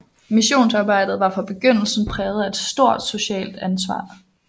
Missionsarbejdet var fra begyndelsen præget af et stort socialt ansvar